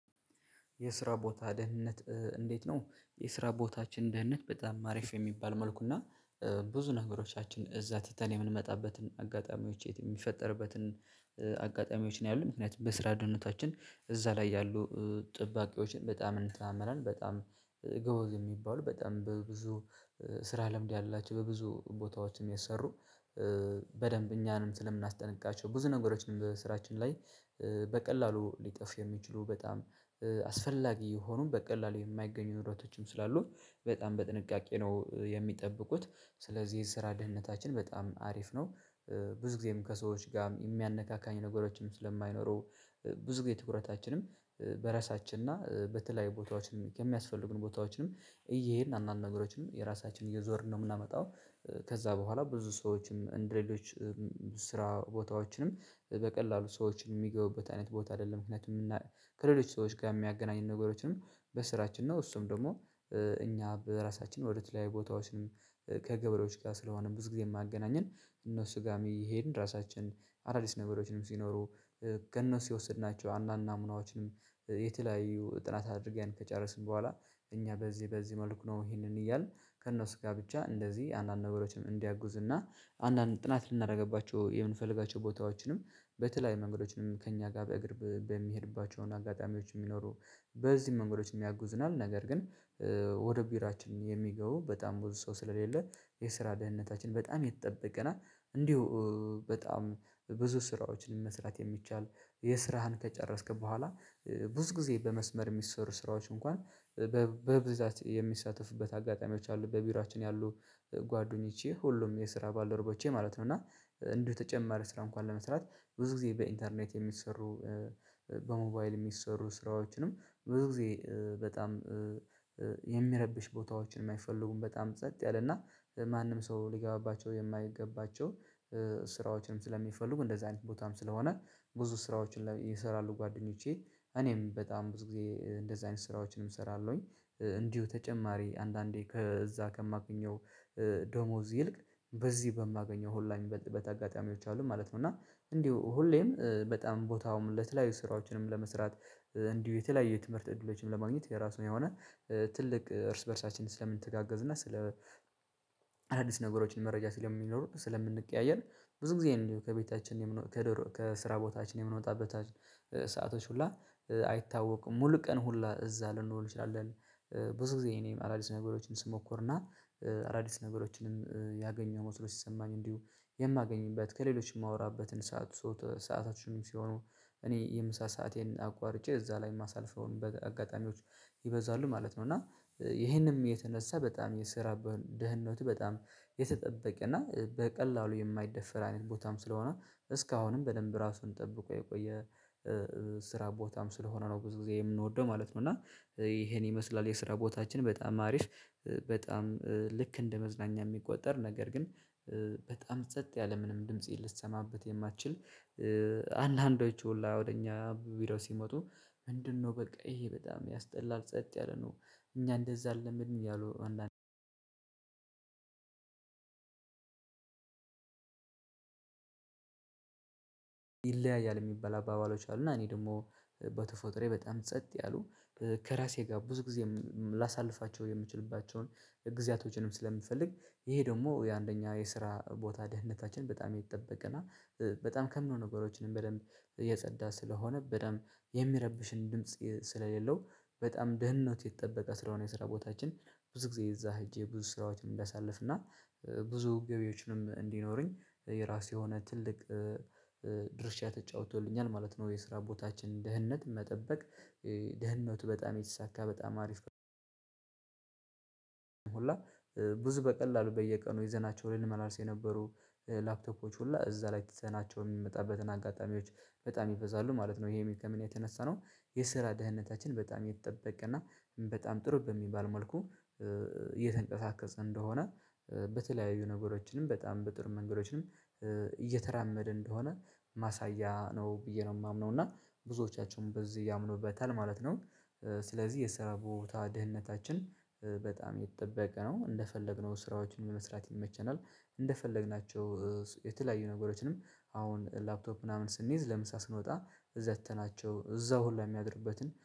የስራ ቦታ ደህንነት እንዴት ነው? የስራ ቦታችን ደህንነት በጣም አሪፍ የሚባል መልኩ እና ብዙ ነገሮቻችን እዛ ትተን የምንመጣበትን አጋጣሚዎች የሚፈጠርበትን አጋጣሚዎች ነው ያሉት ምክንያቱም በስራ ደህንነታችን እዛ ላይ ያሉ ጠባቂዎችን በጣም እንተማመናለን በጣም ጎበዝ የሚባሉ በጣም በብዙ ስራ ልምድ ያላቸው በብዙ ቦታዎችም የሠሩ በደንብ እኛንም ስለምናስጠንቅቃቸው ብዙ ነገሮችንም በሥራችን ላይ በቀላሉ ሊጠፉ የሚችሉ በጣም አስፈላጊ የሆኑን በቀላሉ የማይገኙ ንብረቶችም ስላሉ በጣም በጥንቃቄ ነው የሚጠብቁት ስለዚህ የስራ ደህንነታችን በጣም አሪፍ ነው። ብዙ ጊዜም ከሰዎች ጋር የሚያነካካኝ ነገሮችም ስለማይኖሩ ብዙ ግን ትኩረታችንም በራሳችን እና በተለያዩ ቦታዎችን የሚያስፈልጉን ቦታዎችንም እየሄድን አንዳንድ ነገሮችን የራሳችን እየዞርን ነው የምናመጣው። ከዛ በኋላ ብዙ ሰዎችም እንደሌሎችም ስራ ቦታዎችንም በቀላሉ ሰዎችን የሚገቡበት አይነት ቦታ አይደለም። ምክንያቱም ከሌሎች ሰዎች ጋር የሚያገናኝን ነገሮችንም በሥራችን ነው። እሱም ደግሞ እኛ በራሳችን ወደ ተለያዩ ቦታዎችን ከገበሬዎች ጋር ስለሆነ ብዙ ጊዜ የሚያገናኘን እነሱ ጋርም እየሄድን ራሳችን አዳዲስ ነገሮችንም ሲኖሩ ከእነሱ የወሰድናቸው አነዳአንድ ናሙናዎችንም የተለያዩ ጥናት አድርገን ከጨረስን በኋላ እኛ በዚህ በዚህ መልኩ ነው ይሄንን እያልን ከእነሱ ጋር ብቻ እንደዚህ አንዳንድ ነገሮችም እንዲያግዙ እና አንዳንድ ጥናት ልናደርግባቸው የምንፈልጋቸው ቦታዎችንም በተለይ መንገዶችንም ከእኛ ጋር በእግር በሚሄድባቸው አጋጣሚዎች የሚኖሩ በዚህ መንገዶችም ያግዙናል። ነገር ግን ወደ ቢሮአችን የሚገቡ በጣም ብዙ ሰው ስለሌለ የስራ ደህንነታችን በጣም የተጠበቀና እንዲሁ በጣም ብዙ ስራዎችን መስራት የሚቻል። የሥራህን ከጨረስክ በኋላ ብዙ ጊዜ በመስመር የሚሰሩ ስራዎች እንኳን በብ በብዛት የሚሳተፍበት አጋጣሚዎች አሉ። በቢሮአችን ያሉ ጓዱኝቼ ሁሉም የስራ ባደረቦቼ ማለት ነው እና እንዲሁ ተጨማሪ ስራ እንኳን ለመስራት ብዙ ጊዜ በኢንተርኔት የሚሰሩ በሞባይል የሚሰሠሩ ስራዎችንም ብዙ ጊዜ በጣም የሚረብሽ ቦታዎችን የማይፈልጉም በጣም ጸጥ ያለና ማንም ሰው ሊገባባቸው የማይገባባቸው ስራዎችንም ስለሚፈልጉ እንደዚህ አይነት ቦታም ስለሆነ ብዙ ስራዎችን ይሰራሉ። ጓደኞቼ እኔም በጣም ብዙ ጊዜ እንደዚህ አይነት ስራዎችንም እሰራለሁኝ። እንዲሁ ተጨማሪ አንዳንዴ ከዛ ከማገኘው ደመወዝ ይልቅ በዚህ በማገኘው ሁላ የሚበልጥበት አጋጣሚዎች አሉ ማለት ነው። እና እንዲሁ ሁሌም በጣም ቦታውም ለተለያዩ ስራዎችንም ለመስራት እንዲሁ የተለያየ ትምህርት እድሎችንም ለማግኘት የራሱን የሆነ ትልቅ እርስ በእርሳችን ስለምንተጋገዝ እና ስለ አዳዲስ ነገሮችን መረጃ ስለሚኖር ስለምንቀያየር ብዙ ጊዜ እንዲሁ ከቤታችን የምን ከድሮ ከስራ ቦታችን የምንወጣበት ሰአቶች ሁላ አይታወቅም ሙሉ ቀን ሁላ እዛ ልንውል እንችላለን። ብዙ ጊዜ እኔም አዳዲስ ነገሮችን ስሞክርና አዳዲስ ነገሮችንም ያገኘው መሰሎ ሲሰማኝ እንዲሁ የማገኝበት ከሌሎች የማወራበትን ሰዓት ሶት ሰአታችንም ሲሆኑ እኔ የምሳ ሰአቴን አቋርጬ እዛ ላይ የማሳልፈውን በአጋጣሚዎች ይበዛሉ ማለት ነው። እና ይሄንም የተነሳ በጣም የስራ ደህንነት በጣም የተጠበቀ እና በቀላሉ የማይደፈር አይነት ቦታም ስለሆነ እስካሁንም በደንብ ራሱን ጠብቆ የቆየ ስራ ቦታም ስለሆነ ነው ብዙ ጊዜ የምንወደው ማለት ነው። እና ይሄን ይመስላል የስራ ቦታችን በጣም አሪፍ በጣም ልክ እንደ መዝናኛ የሚቆጠር ነገር ግን በጣም ጸጥ ያለ ምንም ድምጽ ልትሰማበት የማትችል አንዳንዶቹ ሁላ ወደ እኛ ቪዲዮ ሲመጡ ምንድንነው በቃ ይሄ በጣም ያስጠላል ጸጥ ያለ ነው። እኛ እንደዛ አልለመድንም እያሉ አንዳንድ ይለያያል የሚባል አባባሎች አሉ። እና እኔ ደግሞ በተፈጥሮየ በጣም ጸጥ ያሉ ከራሴ ጋር ብዙ ጊዜ ላሳልፋቸው የምችልባቸውን ጊዜያቶችንም ስለምፈልግ ይሄ ደግሞ የአንደኛ የስራ ቦታ ደህንነታችን በጣም የተጠበወ እና በጣም ከምንም ነገሮችንም በደንብ እየጸዳ ስለሆነ በደንብ የሚረብሽም ድምጽ ስለሌለው በጣም ደህንነት የተጠበቀ ስለሆነ የስራ ቦታችን ብዙ ጊዜ እዛ ሄጄ ብዙ ስራዎችን እንዳሳልፍ እና ብዙ ገቢዎችንም እንዲኖረኝ የራሱ የሆነ ትልቅ ድርሻ ተጫውቶልኛል ማለት ነው። የስራ ቦታችን ደህንነት መጠበቅ ደህንነቱ በጣም የተሳካ በጣም አሪፍ። ሁላ ብዙ በቀላሉ በየቀኑ ይዘናቸው ላይ ልንመላለስ የነበሩ ላፕቶፖች ሁሉ እዛ ላይ ትተናቸው የምንመጣበትን አጋጣሚዎች በጣም ይበዛሉ ማለት ነው። ይሄ ከምን የተነሳ ነው የስራ ደህንነታችን በጣም የተጠበቀና በጣም ጥሩ በሚባል መልኩ እየተንቀሳቀሰ እንደሆነ በተለያዩ ነገሮችንም በጣም በጥሩ መንገዶችንም እየተራመደ እንደሆነ ማሳያ ነው ብዬ ነው የማምነው እና ብዙዎቻቸውን በዚህ ያምኑበታል ማለት ነው። ስለዚህ የስራ ቦታ ደህንነታችን በጣም የተጠበቀ ነው እንደፈለግነው ስራዎችን ለመስራት ይመቸናል። እንደፈለግናቸው የተለያዩ ነገሮችንም አሁን ላፕቶፕ ምናምን ስንይዝ ለምሳ ስንወጣ ዘግተናቸው እዛው ሁላ የሚያድርበትን